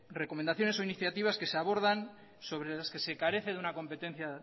recomendaciones o iniciativas que se abordan sobre las que se carece de una competencia